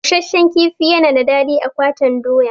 Busashen kifi na da daɗi a gwaten doya.